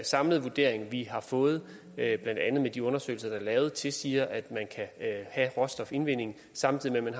samlede vurdering vi har fået blandt andet med de undersøgelser der er lavet tilsiger at man kan have råstofindvinding samtidig med